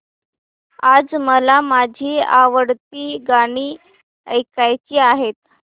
आज मला माझी आवडती गाणी ऐकायची आहेत